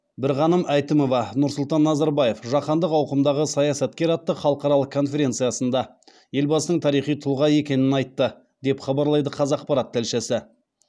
бірғаным әйтімова нұрсұлтан назарбаев жаһандық ауқымдағы саясаткер атты халықаралық конференциясында елбасының тарихи тұлға екенін айтты деп хабарлайды қазақпарат тілшісі